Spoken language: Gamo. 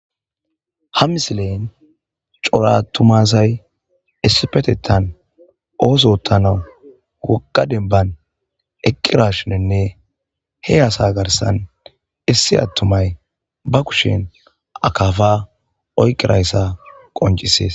Ha misile cora atuma asayi issipetetan oso ottanawu woga demban eqqidashininne he asa garssan issi atumay ba kushen akafa oyiqqida issa qonccises.